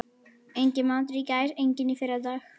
Enginn matur í gær, enginn í fyrradag.